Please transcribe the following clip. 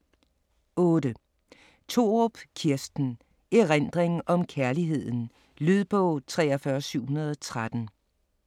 8. Thorup, Kirsten: Erindring om kærligheden Lydbog 43713